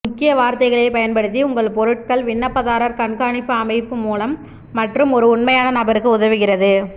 முக்கிய வார்த்தைகளை பயன்படுத்தி உங்கள் பொருட்கள் விண்ணப்பதாரர் கண்காணிப்பு அமைப்பு மூலம் மற்றும் ஒரு உண்மையான நபருக்கு உதவுகிறது